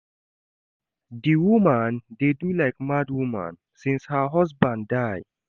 Di woman dey do like mad woman since her husband die.